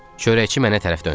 Çörəkçi mənə tərəf döndü.